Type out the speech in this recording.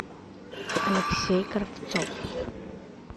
алексей кравцов